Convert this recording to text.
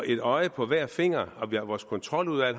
et øje på hver finger og at vores kontroludvalg